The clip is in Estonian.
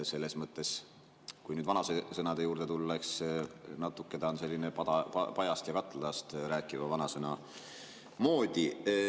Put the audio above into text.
Selles mõttes, kui vanasõnade juurde tulla, siis natuke see on pajast ja katlast rääkiva vanasõna moodi.